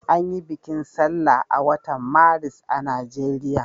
An yi bikin sallah a watan Maris a Najeriya.